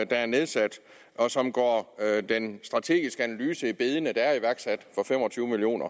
er nedsat og som går den strategiske analyse i bedene der er iværksat for fem og tyve million